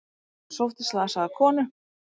Sótti slasaða konu